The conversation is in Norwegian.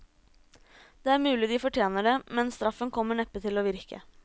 Det er mulig de fortjener det, men straffen kommer neppe til å virke.